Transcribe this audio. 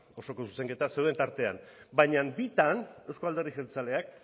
osoko zuzenketak zeuden tartean baina bitan euzko alderdi jeltzaleak